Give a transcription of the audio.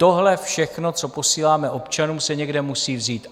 Tohle všechno, co posíláme občanům, se někde musí vzít.